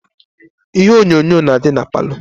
Ihe onyonyo na adi na parlour.